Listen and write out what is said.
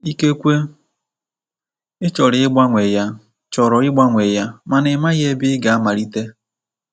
Ikekwe ị chọrọ ịgbanwe ya chọrọ ịgbanwe ya mana ị maghị ebe ị ga-amalite.